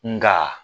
Nga